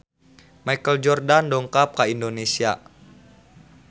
Michael Jordan dongkap ka Indonesia